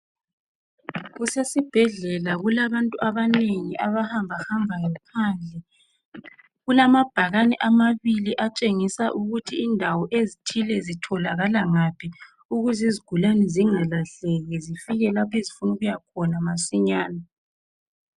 kusesibhedlela kulabantu abanengi abahambahambayo phandle kulamabhane amabili atshengisa ukuthi indawo ezithile zitholakala ukuze izigulani zingalahleki zifike lapho ezifuna ukuya khona masinyani